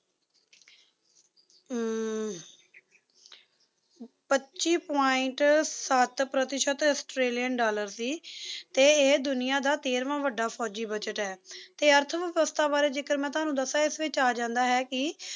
ਅਮ ਪੱਚੀ point ਸੱਤ ਪ੍ਰਤੀਸ਼ਤ ਆਸਟ੍ਰੇਲੀਅਨ ਡਾਲਰ ਸੀ ਤੇ ਇਹ ਦੁਨੀਆਂ ਦਾ ਤੇਰਵਾਂ ਵੱਡਾ ਫੌਜੀ ਬਜ਼ਟ ਹੈ ਤੇ ਅਰਥ ਵਿਵਸਥਾ ਬਾਰੇ ਜੇਕਰ ਮੈਂ ਤੁਹਾਨੂੰ ਦਸਾਂ ਇਸ ਵਿੱਚ ਆ ਜਾਂਦਾ ਹੈ ਕੀ